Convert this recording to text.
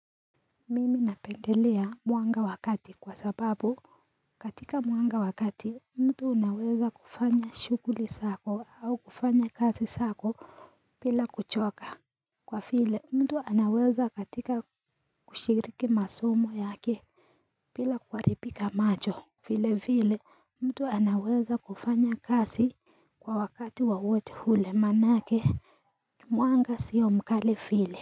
Mimi napendelea mwanga wa kati kwa sababu katika mwanga wa kati mtu anaweza kufanya shuguli zake au kufanya kazi zako bila kuchoka Kwa vile mtu anaweza kushiriki masomo yake bila kuharibika macho. Vile vile mtu anaweza kufanya kazi kwa wakati wowote ule manake mwanga siyo mkali vile.